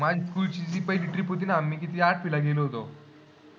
माझी school ची trip होती ना. मी आठवीला गेलो होतो.